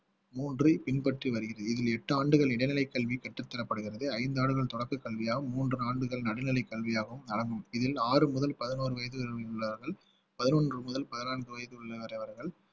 மூன்று பின்பற்றி வருகிறது இதில் எட்டு ஆண்டுகள் இடைநிலை கல்வி கற்றுத்தரப்படுகிறது ஐந்து ஆண்டுகள் தொடக்க கல்வியாக மூன்று ஆண்டுகள் நடுநிலை கல்வியாகவும் நடக்கும் இதில் ஆறு முதல் பதினோரு வயது வரை உள்ளவர்கள் பதினொன்று முதல் பதினான்கு வயது உள்ளவர்கள்